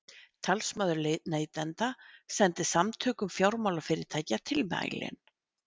Talsmaður neytenda sendi Samtökum fjármálafyrirtækja tilmælin